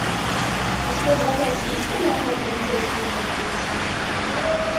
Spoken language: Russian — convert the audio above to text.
у тебя в запасе есть киноха полицейский из беверли хиллз